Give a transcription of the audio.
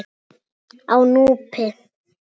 Á Núpi